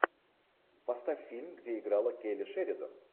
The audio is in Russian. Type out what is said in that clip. поставь фильм где играла келли шеридан